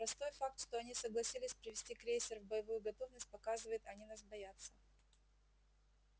простой факт что они согласились привести крейсер в боевую готовность показывает они нас боятся